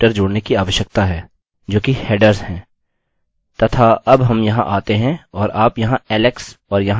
अपने मेल के अंदर हम अन्य पैरामीटर को जोड़ने की आवश्यकता है जो कि headers है